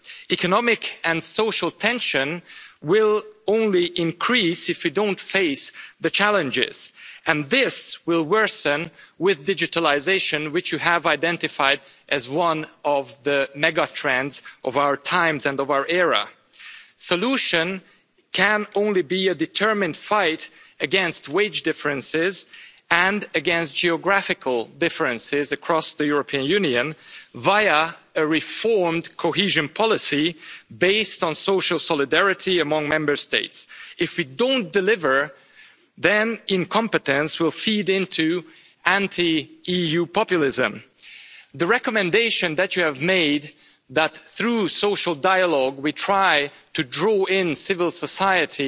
Economic and social tension will only increase if we don't face up to the challenges, and this will worsen with digitalisation, which you have identified as one of the mega trends of our times and of our era. The solution can only be a determined fight against wage differences and against geographical differences across the European Union via a reformed cohesion policy based on social solidarity among Member States. If we don't deliver then incompetence will feed into anti EU populism. The recommendation that you have made that through social dialogue we try to draw in civil society